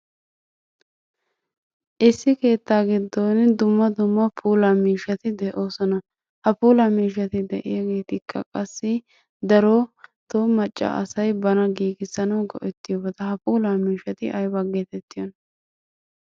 Issi keettaa giddon dumma dumma puula miishshati de'oosona. Ha puula miishshati de"iyaagetikka qassi darotoo macca asay bana giigissanawu go"ettiyoobata. Ha puula miishshati aybaa geetettiyoona?